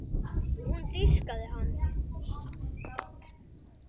Hún dýrkaði hann.